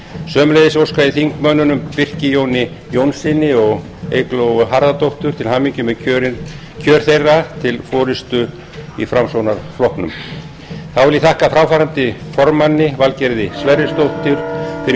sömuleiðis óska ég þingmönnum birki jóni jónssyni og eygló harðardóttur til hamingju með kjör þeirra til forustu í framsóknarflokknum þá vil ég þakka fráfarandi formanni valgerði sverrisdóttur fyrir